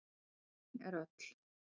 Dóra mín er öll.